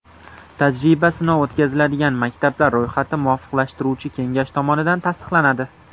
Tajriba-sinov o‘tkaziladigan maktablar ro‘yxati muvofiqlashtiruvchi kengash tomonidan tasdiqlanadi.